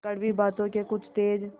कड़वी बातों के कुछ तेज